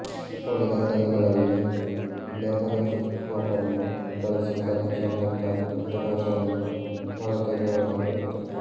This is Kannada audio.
ಉಳಿದ ಕಲ್ಲುಗಳಲ್ಲಿ ಲೆಪರೋಸ್ಕೋಪನ್ನು ಬಳಸಿ ಕಲ್ಲು ಸಮೇತ ಪಿತ್ತಕೋಶವನ್ನು ಹೊರತೆಗೆಯಲಾಗುತ್ತದೆ